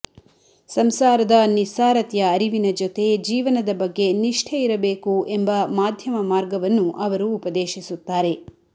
ಸಂಸಾರದ ನಿಸ್ಸಾರತೆಯ ಅರಿವಿನ ಜೊತೆ ಜೀವನದ ಬಗ್ಗೆ ನಿಷ್ಠೆ ಇರಬೇಕು ಎಂಬ ಮಾಧ್ಯಮ ಮಾರ್ಗವನ್ನು ಅವರು ಉಪದೇಶಿಸುತ್ತಾರೆ